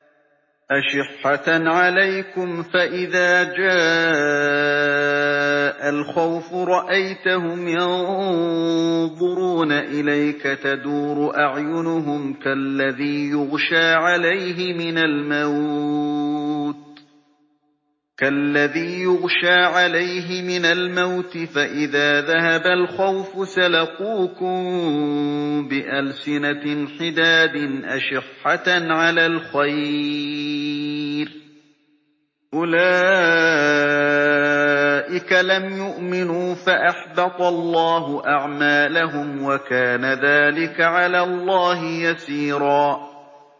أَشِحَّةً عَلَيْكُمْ ۖ فَإِذَا جَاءَ الْخَوْفُ رَأَيْتَهُمْ يَنظُرُونَ إِلَيْكَ تَدُورُ أَعْيُنُهُمْ كَالَّذِي يُغْشَىٰ عَلَيْهِ مِنَ الْمَوْتِ ۖ فَإِذَا ذَهَبَ الْخَوْفُ سَلَقُوكُم بِأَلْسِنَةٍ حِدَادٍ أَشِحَّةً عَلَى الْخَيْرِ ۚ أُولَٰئِكَ لَمْ يُؤْمِنُوا فَأَحْبَطَ اللَّهُ أَعْمَالَهُمْ ۚ وَكَانَ ذَٰلِكَ عَلَى اللَّهِ يَسِيرًا